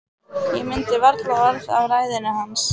Ég mundi varla orð af ræðunni hans.